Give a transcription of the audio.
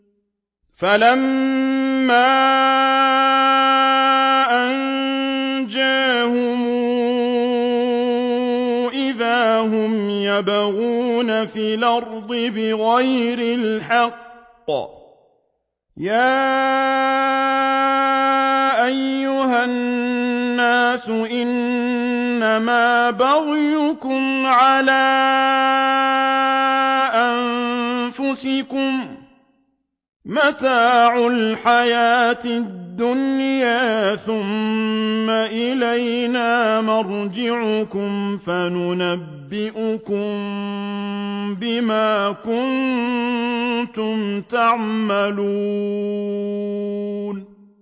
فَلَمَّا أَنجَاهُمْ إِذَا هُمْ يَبْغُونَ فِي الْأَرْضِ بِغَيْرِ الْحَقِّ ۗ يَا أَيُّهَا النَّاسُ إِنَّمَا بَغْيُكُمْ عَلَىٰ أَنفُسِكُم ۖ مَّتَاعَ الْحَيَاةِ الدُّنْيَا ۖ ثُمَّ إِلَيْنَا مَرْجِعُكُمْ فَنُنَبِّئُكُم بِمَا كُنتُمْ تَعْمَلُونَ